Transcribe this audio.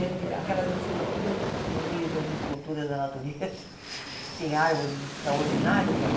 aquelas esculturas, no meio das esculturas da natureza, que tem árvores extraordinárias ali,